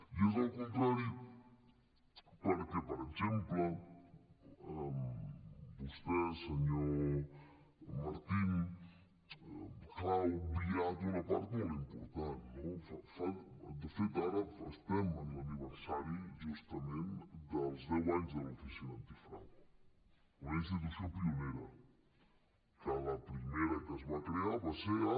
i és al contrari perquè per exemple vostè senyor martín clar ha obviat una part molt important no de fet ara estem en l’aniversari justament dels deu anys de l’oficina antifrau una institució pionera que la primera que es va crear va ser a